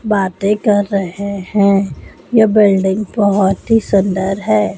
बाते कर रहे है ये बिल्डिंग बहोत ही सुंदर है।